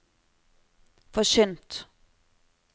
forkynt